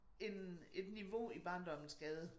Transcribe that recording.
En et niveau i barndommens gade